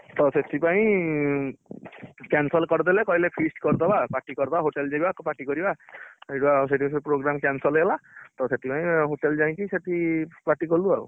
ତ ସେଥିପାଇଁ cancel କରିଦେଲେ କହିଲେ feast କରିଦବ party କରିଦବା hotel ଯିବା party କରିଆ ସେଇଠୁ ଆଉ ସେଇଠୁ ସେ program ସବୁ cancel ହେଲା ତ ସେଥିପାଇଁ hotel ଯାଇକି ସେଠି party କଲୁ ଆଉ